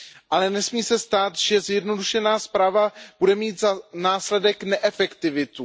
Ale nesmí se stát, že zjednodušená správa bude mít za následek neefektivitu.